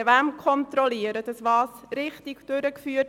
Wer kontrolliert wen?